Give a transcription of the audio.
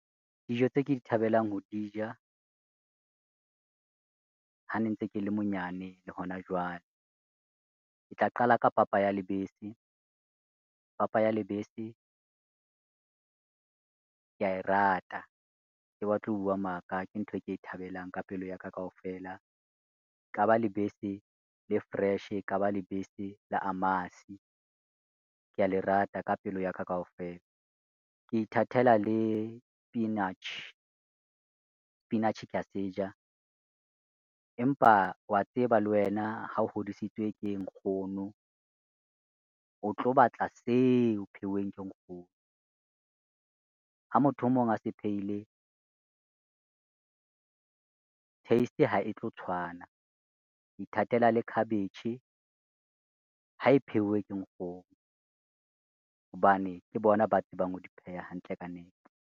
Dijo tse ke di thabelang ho di ja, ha ne ntse ke le monyane le hona jwale ke tla qala ka papa ya lebese. Papa ya lebese, ke ya e rata ke batle ho bua maka ke ntho e ke e thabelang ka pelo ya ka kaofela, eka ba lebese le fresh e ka ba lebese la amasi, kea le rata ka pelo ya ka kaofela. Ke ithatela le sepinatjhe, sepinatjhe kea se ja, empa wa tseba le wena ha o hodisitswe ke nkgono, o tlo batla tseo pheuweng ke nkgono, ha motho e mong a se phehile taste ha e tlo tshwana. Ke ithatela le khabetjhe ha e pheuwe ke nkgono hobane ke bona ba tsebang ho di pheha hantle ka nepo.